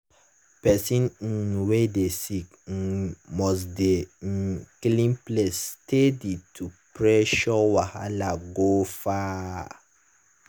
person um wey dey sick um must dey um clean place steady to pursue wahala go far.